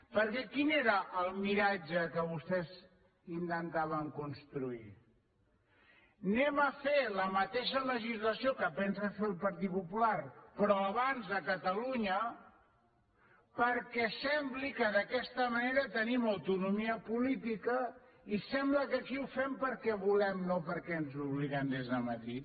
perquè quin era el miratge que vostès intentaven construir farem la mateixa legislació que pensa fer el partit popular però abans a catalunya perquè sembli que d’aquesta manera tenim autonomia política i sembli que aquí ho fem perquè volem no perquè ens hi obliguen des de madrid